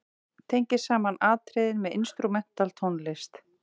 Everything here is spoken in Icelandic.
Tengir saman atriðin með instrumental tónlist.